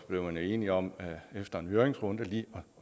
man enige om efter en høringsrunde lige